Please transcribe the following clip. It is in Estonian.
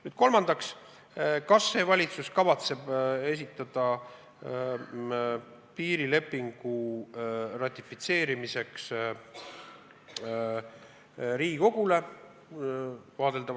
Nüüd kolmandaks: kas see valitsus kavatseb esitada vaadeldavas tulevikus piirilepingu Riigikogule ratifitseerimiseks?